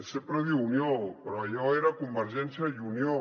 sempre diu unió però allò era convergència i unió